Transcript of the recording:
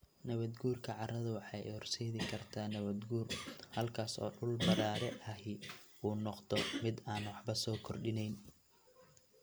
Nabaad-guurka carradu waxa ay horseedi kartaa nabaad-guur, halkaas oo dhul badhaadhe ahi uu noqdo mid aan waxba soo kordhinayn.